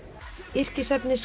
yrkisefni